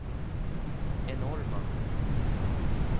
enorma